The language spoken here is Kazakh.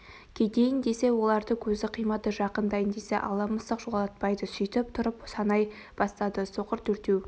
кетейін десе оларды көзі қимады жақындайын десе ала мысық жолатпайды сөйтіп тұрып санай бастады соқыр төртеу